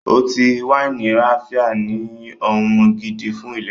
Ọtí wáìnì ráfíá ní ohun gidi fún ìlera